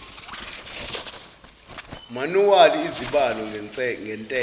manuwali izibalo ngentela